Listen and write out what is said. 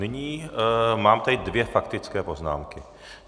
Nyní mám tady dvě faktické poznámky.